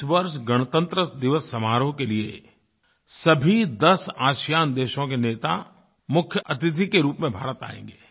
इस वर्ष गणतंत्रदिवस समारोह के लिए सभी दस आसियान आसियान देशों के नेता मुख्यअतिथि के रूप में भारत आएँगे